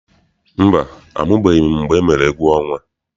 Mba, amụbeghị m mgbe emere egwuọnwa.